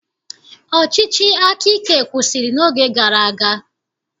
Ọchịchị akaike kwụsịrị n'oge gara aga